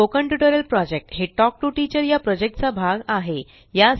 spoken tutorial project हे talk to teacher चा भाग आहे